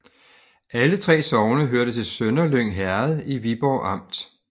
Alle 3 sogne hørte til Sønderlyng Herred i Viborg Amt